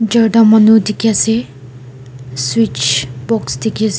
charta manu dekhi asa switch box dekhi asa.